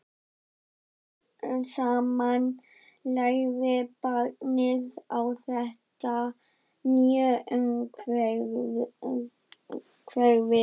Smám saman lærði barnið á þetta nýja umhverfi.